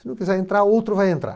Se não quiser entrar, outro vai entrar.